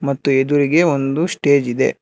ಮತ್ತು ಎದುರಿಗೆ ಒಂದು ಸ್ಟೇಜ್ ಇದೆ.